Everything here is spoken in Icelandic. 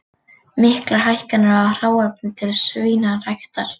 Miklar hækkanir á hráefni til svínaræktar